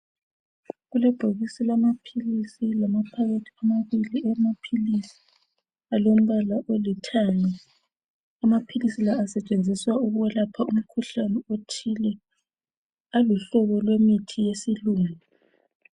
Kulebhokisi lamapills lamaphakethi amabili awamapills alombala olithanga amapills la asetshenziswa ukukuyelapha umkhuhlane othile angumhlobo wesilungu